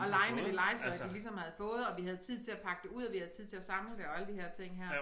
Og lege med det legetøj de ligesom havde fået og vi havde tid til at pakke det ud og vi havde tid til at samle det og alle de her ting her